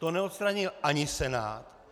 To neodstranil ani Senát.